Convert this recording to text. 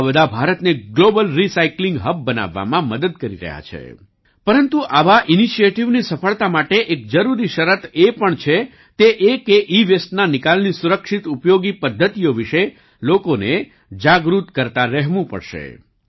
આ બધા ભારતને ગ્લોબલ રિસાયક્લિંગ હબ બનાવવામાં મદદ કરી રહ્યા છે પરંતુ આવા ઇનિશિએટિવ ની સફળતા માટે એક જરૂરી શરત એ પણ છે તે એ કે ઈવેસ્ટના નિકાલની સુરક્ષિત ઉપયોગી પદ્ધતિઓ વિશે લોકોને જાગૃત કરતા રહેવા પડશે